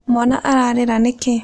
Mwana ararĩra nĩkĩĩ?